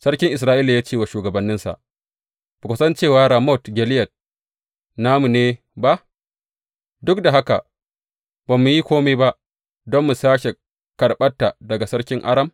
Sarkin Isra’ila ya ce wa shugabanninsa, Ba ku san cewa Ramot Gileyad namu ne ba, duk da haka ba mu yi kome ba don mu sāke karɓanta daga sarkin Aram?